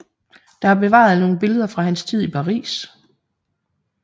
Der er bevaret nogle billeder fra hans tid i Paris